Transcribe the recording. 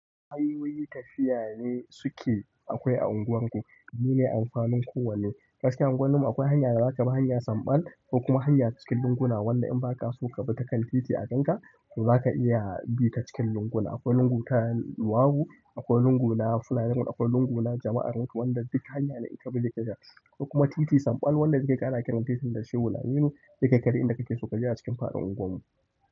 Ai wai tafiya ne suke, akwai a unguwarku. Mu ne amfanin kowanne. Gaskiya unguwarmu akwai hanya da za ka bi, hanya samɓal ko kuma hanya cikin lunguna wanda in ba ka so ka bi ta kan titi a gan ka, to za ka iya bi ta cikin lunguna. Akwai lungu ta luwaɗu, akwai lungu na fuladajen, akwai lungu na jama'aranku wanda duk hanya ne da ita zai ka iya ka sha. Ko kuma titi samɓal wanda suke ƙara kiranta titi shugula. Duk shi kai kaɗai inda kake so ka je a cikin faɗin unguwarmu.